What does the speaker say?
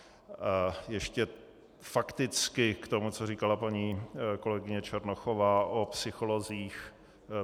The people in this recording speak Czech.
Ještě fakticky k tomu, co říkala paní kolegyně Černochová o psycholozích.